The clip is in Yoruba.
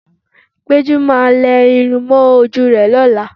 Pẹ́jú máa lẹ irun mọ́ ojú rẹ lọ́la